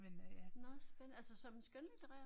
Nåh spændende altså som skønlitterær?